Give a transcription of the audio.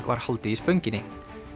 var haldið í Spönginni